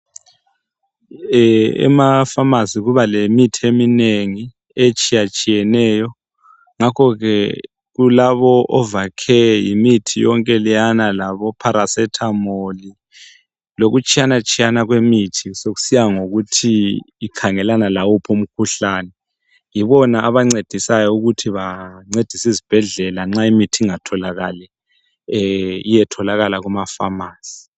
Emafamasi kuba lemithi eminengi etshiyatshiyeneyo ngakho ke kulabo ovacare yimithi yonke leyana laboparacetamol lokutshiyanatshiyana kwemithi sekusiya ngokuthi ikhangelana lawuphi umkhuhlane yibona abancedisayo ukuthi bancedise izibhedlela nxa imithi ingatholakali iyetholakala kumafamasi.